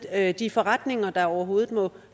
af de forretninger der overhovedet må